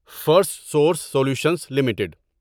first source solutions limited